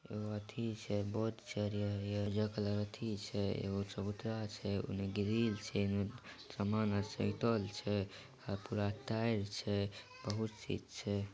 एगो अथी छै बहुत छै हरिहर-हरिहर ऊजरा कलर के अथी छै एगो चबूतरा छै उने ग्रिल छै उने सामान आर सैतल छै आर पूरा टाइल छै बहुत चीज छै।